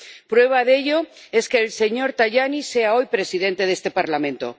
Prueba de ello es que el señor Tajani sea hoy presidente de este Parlamento